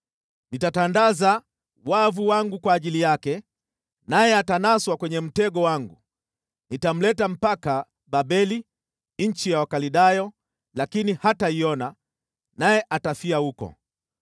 Nitatandaza wavu wangu kwa ajili yake, naye atanaswa kwenye mtego wangu, nitamleta mpaka Babeli, nchi ya Wakaldayo, lakini hataiona, naye atafia huko.